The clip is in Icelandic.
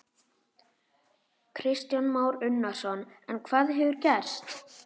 Kristján Már Unnarsson: En hvað hefur gerst?